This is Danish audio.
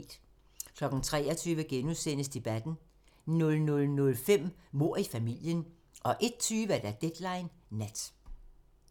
23:00: Debatten * 00:05: Mord i familien 01:20: Deadline Nat